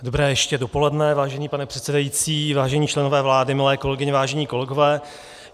Dobré ještě dopoledne, vážený pane předsedající, vážení členové vlády, milé kolegyně, vážení kolegové.